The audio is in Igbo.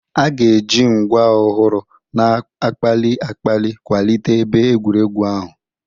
A ga-eji ngwa ọhụrụ na-akpali akpali kwalite ebe egwuregwu ahụ.